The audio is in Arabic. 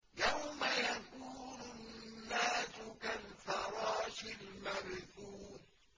يَوْمَ يَكُونُ النَّاسُ كَالْفَرَاشِ الْمَبْثُوثِ